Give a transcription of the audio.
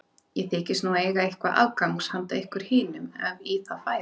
Ég þykist nú eiga eitthvað afgangs hana ykkur hinum ef í það færi.